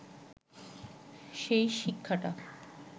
সেই শিক্ষাটা